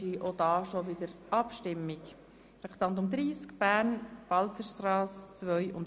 – Sie wünscht sich ebenfalls nicht zu diesem Geschäft zu äussern.